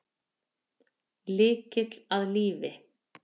Lykill að lífi